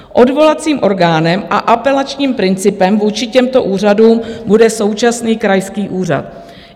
Odvolacím orgánem a apelačním principem vůči těmto úřadům bude současný krajský úřad.